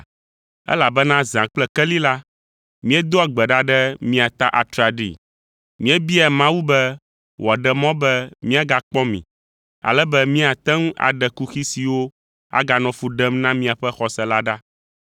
Elabena zã kple keli la, míedoa gbe ɖa ɖe mia ta atraɖii; míebiaa Mawu be wòaɖe mɔ be míagakpɔ mi, ale be míate ŋu aɖe kuxi siwo aganɔ fu ɖem na miaƒe xɔse la ɖa.